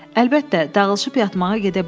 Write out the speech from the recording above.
Əlbəttə, dağılışıb yatmağa gedə bilərsiniz.